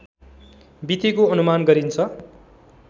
बितेको अनुमान गरिन्छ